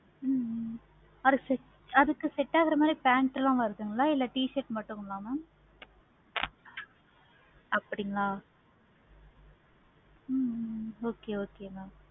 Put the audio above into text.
ஹம் அதுக்கு set ஆகுற மாதிரி pant லாம் இருக்க? இல்ல t-shirt மட்டும் தான mam அப்படிங்களா ஹம் okay okay mam